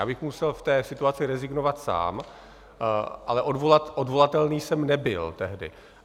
Já bych musel v té situaci rezignovat sám, ale odvolatelný jsem nebyl tehdy.